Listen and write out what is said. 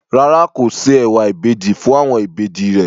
Rárá, kò se ẹ̀wà ìbejì fún àwọn ìbejì rẹ̀.